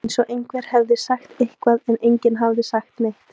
eins og einhver hefði sagt eitthvað, en enginn hafði sagt neitt.